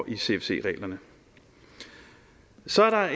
i cfc reglerne så er